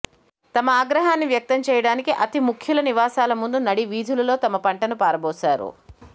తమ ఆగ్రహాన్ని వ్యక్తం చేయడానికి అతి ముఖ్యుల నివాసాలముందు నడి వీధులలో తమ పంటను పారబోసారు